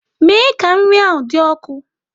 Mee ka nri ahụ dị ọkụ!